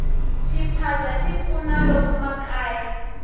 xiphaza xi pfuna lomu makaya